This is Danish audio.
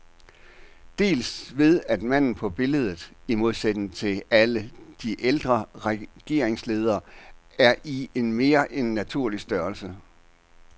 Dels ved at manden på billedet, i modsætning til alle de ældre regeringsledere, er i mere end naturlig størrelse.